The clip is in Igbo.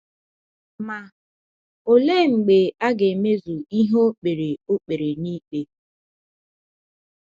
Ma, olee mgbe a ga-emezu ihe o kpere o kpere n'ikpe?